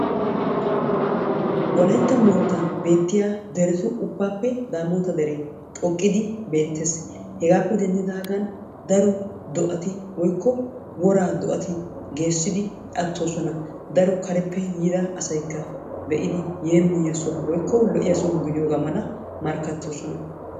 wolaytta moottan beettiya deretu ubaappe daamoota deree beetees. hegaappe denddidaagaan daro do'ati woykko woraa do'atti geesidi atoosona. daro kareppe yiida asaykka yeemottidi be'iyo soho woykko yeemoyiyo soho gidi markkatoosona.